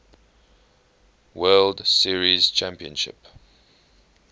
world series championship